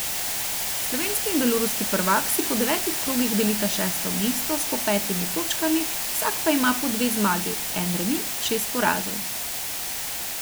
Slovenski in beloruski prvak si po devetih krogih delita šesto mesto s po petimi točkami, vsak pa ima po dve zmagi, en remi in šest porazov.